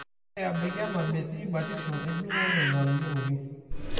Ore ebaiki ena, metii batisho enjung'ore natayioloki.